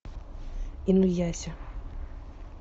инуяся